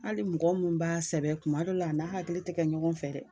Hali mɔgɔ min b'a sɛbɛn kuma dɔ la a n'a hakili tɛ kɛ ɲɔgɔn fɛ dɛ.